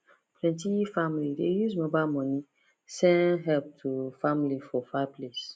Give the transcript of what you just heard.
plenty family dey use mobile money send help to family for far place